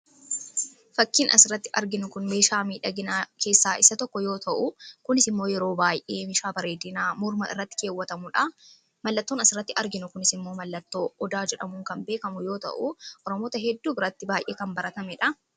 Fakkiin asirratti arginu kun meeshaa miidhaginaa keessaa isa tokko yoo ta'u kunis immoo yeroo baay'ee meeshaa bareedinaa morma irratti keewwatamuudha. Mallattoon as irratti arginu kunis immoo mallattoo odaa jedhamuun kan beekamu yoo ta'u oromoota hedduu biratti baay'ee kan baratameedha.